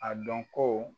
A dɔn ko